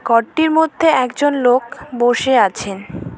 ঘরটির মধ্যে একজন লোক বসে আছেন।